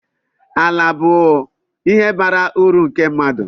Ala bụ ihe bara uru nke mmadụ